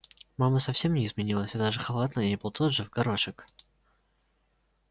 мама совсем не изменилась и даже халат на ней был тот же в горошек